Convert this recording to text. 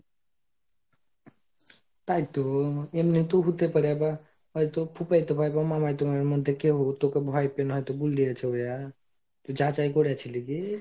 তাই তো, এমনি তো হুতে পারে বা হয়তো খুপায়তো ভাই বা মামাতোভাই এর মধ্যে কেউ হয়তো উ তোকে ভয় পেন হয়তো বুলদিয়েছে ও অ্যা তুই যাচাই করে ছিলি কি?